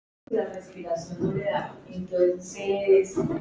Þú flýgur í gegn núna!